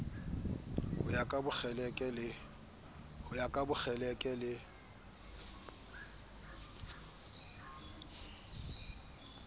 ho ya ka bokgeleke le